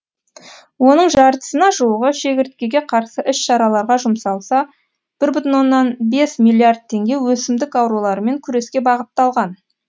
оның жартысына жуығы шегірткеге қарсы іс шараларға жұмсалса бір бүтін оннан бес миллиард теңге өсімдік ауруларымен күреске бағытталған